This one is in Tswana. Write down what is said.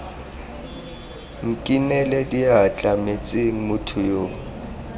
nkinele diatla metsing motho yo